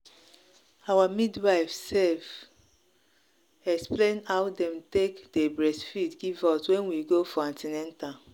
i day make sure to ask about how to breastfeed anytime i go see doctor.